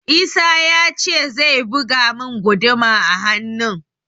Isah ya ce zai buga mun guduma a hannun